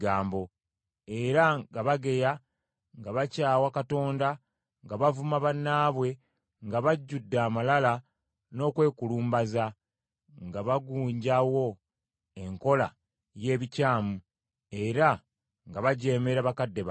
era nga bageya, nga bakyawa Katonda, nga bavuma bannaabwe, nga bajjudde amalala n’okwekulumbaza, nga bagunjawo enkola y’ebikyamu, era nga bajeemera bakadde baabwe.